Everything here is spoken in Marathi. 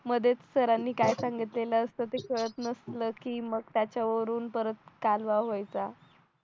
मध्येच सरांनी काय सांगितलेलं असतं ते कळत नसलं की मग त्याच्यावरून परत व्हायचं